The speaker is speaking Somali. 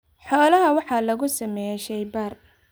Xoolaha waxaa lagu sameeyaa shaybaar.